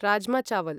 rajma चावल्